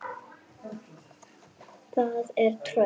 Það er tröll.